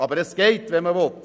Es geht, wenn man will.